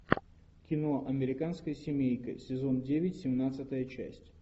кино американская семейка сезон девять семнадцатая часть